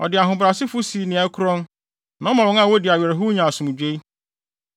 Ɔde ahobrɛasefo si nea ɛkorɔn, na ɔma wɔn a wodi awerɛhow nya asomdwoe.